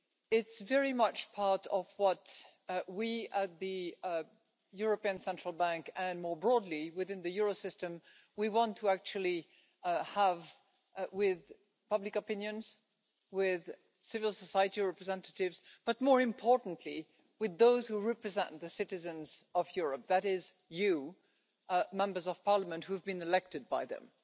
It's very much part of what we at the European Central Bank, and more broadly within the euro system, want to actually have with public opinions, with civil society representatives, but more importantly, with those who represent the citizens of Europe that is you, Members of Parliament, who have been elected by them.